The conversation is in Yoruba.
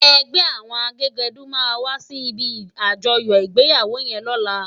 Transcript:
Ègbè áwòn àgégèdú má wàsí ibi ájòyò igbéyáwó yèn lòlá